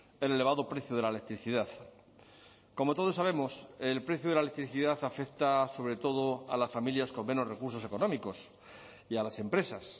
el elevado precio de la electricidad como todos sabemos el precio de la electricidad afecta sobre todo a las familias con menos recursos económicos y a las empresas